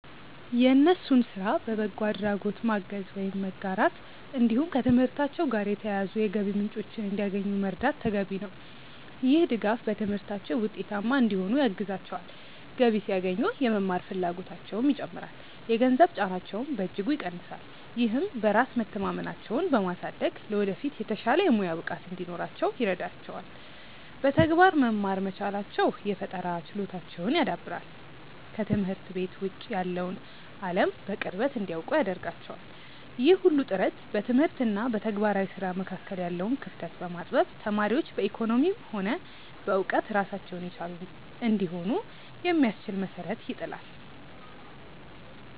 የእነሱን ስራ በበጎ አድራጎት ማገዝ ወይም መጋራት፣ እንዲሁም ከትምህርታቸው ጋር የተያያዙ የገቢ ምንጮችን እንዲያገኙ መርዳት ተገቢ ነው። ይህ ድጋፍ በትምህርታቸው ውጤታማ እንዲሆኑ ያግዛቸዋል፤ ገቢ ሲያገኙ የመማር ፍላጎታቸውም ይጨምራል፣ የገንዘብ ጫናቸውንም በእጅጉ ይቀንሳል። ይህም በራስ መተማመናቸውን በማሳደግ ለወደፊት የተሻለ የሙያ ብቃት እንዲኖራቸው ይረዳቸዋል። በተግባር መማር መቻላቸው የፈጠራ ችሎታቸውን ያዳብራል፤ ከትምህርት ቤት ውጭ ያለውን አለም በቅርበት እንዲያውቁ ያደርጋቸዋል። ይህ ሁሉ ጥረት በትምህርት እና በተግባራዊ ስራ መካከል ያለውን ክፍተት በማጥበብ ተማሪዎች በኢኮኖሚም ሆነ በእውቀት ራሳቸውን የቻሉ እንዲሆኑ የሚያስችል መሰረት ይጥላል።